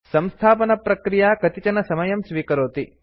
संस्थापनप्रक्रिया कतिचन समयं स्वीकरोति